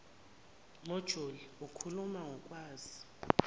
mojuli ikhuluma ngokwazi